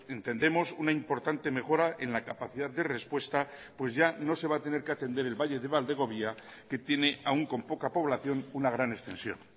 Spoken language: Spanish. entendemos una importante mejora en la capacidad de respuesta pues ya no se va a tener que atender el valle de valdegovía que tiene aun con poca población una gran extensión